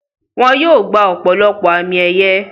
Wọ́n yóò gbà ọ̀pọ̀lọpọ̀ àmì ẹ̀yẹ.